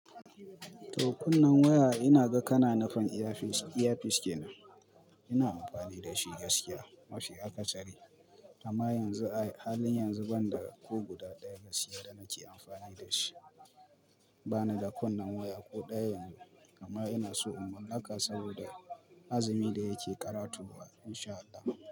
To kunnan waya ina ga kana nufin earpiece earpiece kenan ina amfani da shi gaskiya mafi akasari, amma yanzu halin yanzu ban da ku guda ɗaya gaskiya da nake amfani da shi. Ba ni da kunnen waya ko ɗaya yanzu, amma ina so umarnaka saboda azumi da yake ƙarato wa insha Allah.